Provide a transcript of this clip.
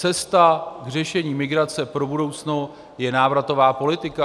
Cesta k řešení migrace pro budoucnost je návratová politika.